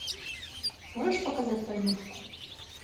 можешь показать войнушку